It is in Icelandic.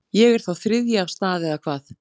Ég er þá þriðji af stað eða hvað.